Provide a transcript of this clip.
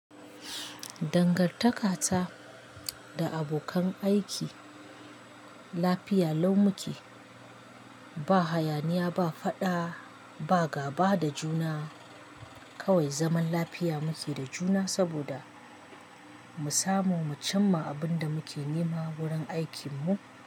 Dangantaka ta da abokan aiki lafiya lau muke, ba hayaniya, ba faɗa, ba gaba da juna. Kawai zaman lafiya muke da juna saboda mu samo, mu cimma abin da muke nema wurin aikinmu.